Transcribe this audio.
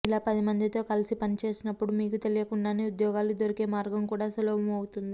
ఇలా పది మందితో కలిసి పనిచేసినప్పుడు మీకు తెలీకుండానే ఉద్యోగాలు దొరికే మార్గం కూడా సులభమవుతుంది